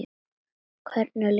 Hvernig líður mömmu þinni?